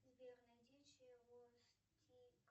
сбер найди чевостик